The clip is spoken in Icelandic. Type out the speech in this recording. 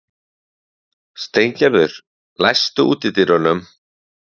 Steingerður, læstu útidyrunum.